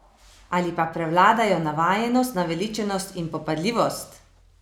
Ali pa prevladajo navajenost, naveličanost in popadljivost?